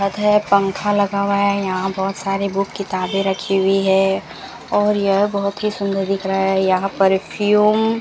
है पंखा लगा हुआ है यहां बहोत सारी बुक किताबें रखी हुई है और यह बहोत ही सुंदर दिख रहा है यहां परफ्यूम --